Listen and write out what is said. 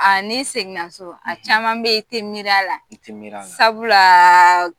A ni seginnaso; a caman b' i te miri a la; I te miri a la; sabulaaa